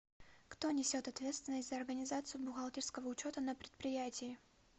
кто несет ответственность за организацию бухгалтерского учета на предприятии